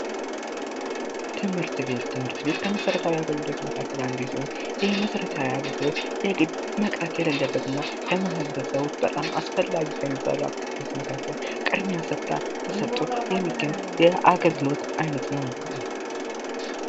ትምህርት ቤት ፦ትምህርት ቤት ከመሰረታዊ አገልግሎት መካከል አንዱ ሲሆን ይህም መሰረታዊ አገልግሎት የግድ መቅረት የሌለበት እና በማህበረሰቡ በጣም አስፈላጊ ከሚባሉ አገልግሎት መካከል ቅድሜያ ተሰጦ የሚገኝ የአገልግሎት አይነት ነው ።